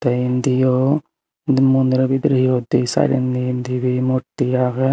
tey indiyo indi mondiro bidreyo di saidandi dibey murti agey.